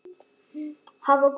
Það var gott